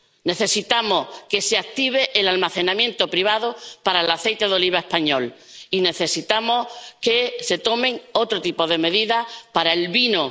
Necesitamos que se active el almacenamiento privado para el aceite de oliva español y necesitamos que se tomen otro tipo de medidas para el vino.